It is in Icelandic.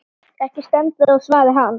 Ekki stendur á svari hans.